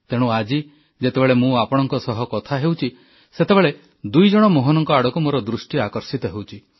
ତେଣୁ ଆଜି ଯେତେବେଳେ ମୁଁ ଆପଣମାନଙ୍କ ସହ କଥା ହେଉଛି ସେତେବେଳେ ଦୁଇଜଣ ମୋହନଙ୍କ ଆଡ଼କୁ ମୋର ଦୃଷ୍ଟି ଆକର୍ଷିତ ହେଉଛି